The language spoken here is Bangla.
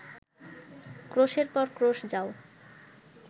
ক্রোশের পর ক্রোশ যাও